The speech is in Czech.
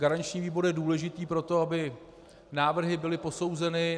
Garanční výbor je důležitý pro to, aby návrhy byly posouzeny.